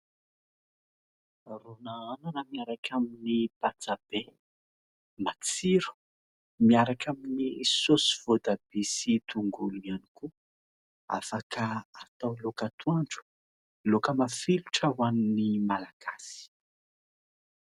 Ron'anana miaraka amin'ny patsa be. Matsiro, miaraka amin'ny saosy voatabia sy tongolo ihany koa. Afaka atao laoka atoandro, laoka mafilotra ho an'ny malagasy.